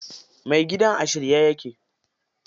Mai gidan a shirye yake.